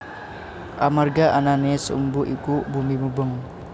Amarga anané sumbu iku bumi mubeng